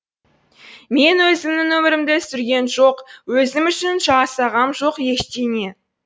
мен өзімнің өмірімді сүргем жоқ өзім үшін жасағам жоқ ештеңе